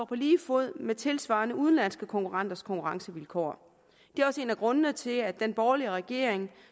på lige fod med tilsvarende udenlandske konkurrenters konkurrencevilkår det er også en af grundene til at den borgerlige regering